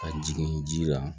Ka jigin ji la